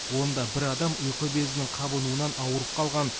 онда бір адам ұйқы безінің қабынуынан ауырып қалған